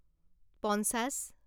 পঞ্চাছ